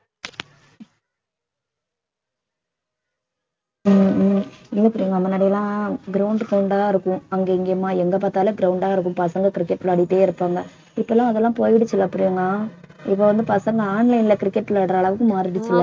உம் உம் இல்ல பிரியங்கா முன்னாடிலாம் ground ground ஆதான் இருக்கும் அங்கே இங்கேயுமா எங்க பாத்தாலும் ground ஆ இருக்கும் பசங்க cricket விளையாடிட்டே இருப்பாங்க இப்பல்லாம் அதெல்லாம் போயிடுச்சுல பிரியங்கா இப்ப வந்து பசங்க online ல cricket விளையாடுற அளவுக்கு மாறிடுச்சு